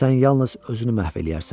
Sən yalnız özünü məhv eləyərsən.